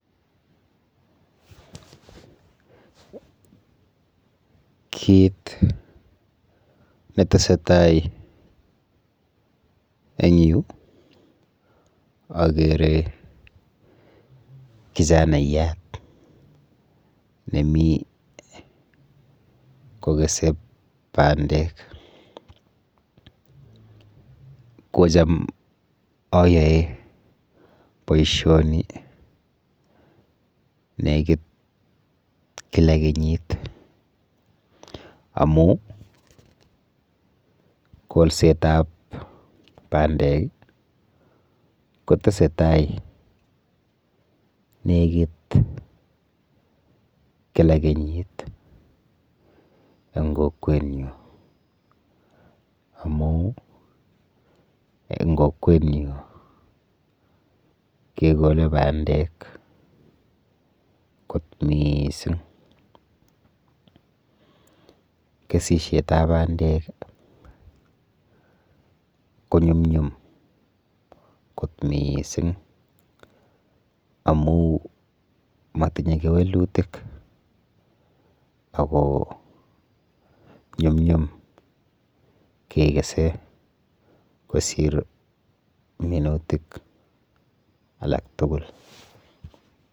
Kit netesetai eng yu akere kijanaiyat nemi kokese bandek. Kocham ayoe boishoni nekit kila kenyit amu kolsetap bandek kotesetai nekit kila kenyit eng kokwenyu amu eng kokwenyu kekole bandek kot mising. Kesishetap bandek konyumnyum kot mising amu matinye kewelutik ako nyumnyum kekese kosir minutik alak tugul.